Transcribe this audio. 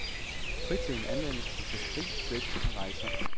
Fritiden anvendes på fiskeri, bridge og rejser.